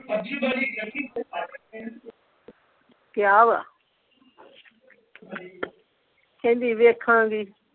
ਕਿਹਾ ਵਾ ਕਹਿੰਦੀ ਵੇਖਾਂ ਗੀ